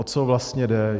O co vlastně jde?